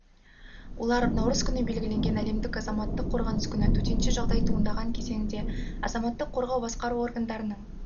олар наурыз күні белгіленген әлемдік азаматтық қорғаныс күні төтенше жағдай туындаған кезеңінде азаматтық қорғау басқару органдарының